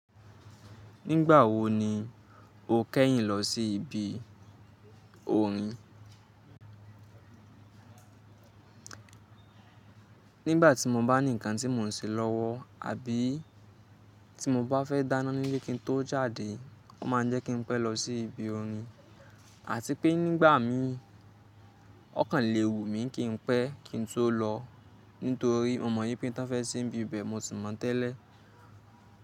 Nígbà wo ni o kẹ́yìn lọ sí ibi orin? Nígbà tí mo bá ní ǹkan tí mò ń ṣe lọ́wọ́ àbí tí mo bá fẹ́ dáná nílé kí ń tó jáde, wọ́n ma ń jẹ́ kí n pẹ́ lọ sí ibi orin àti pé nígbà mí ọkàn lè wù mí kí n pẹ́ kí ń tó lọ nítorí mo mọ̀ yípé n tan fẹ́ sí n ibi bẹ́ẹ̀ mo ti mọ̀ tẹ́lẹ̀